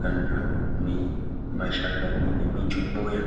kana nemashakani emujumbuya.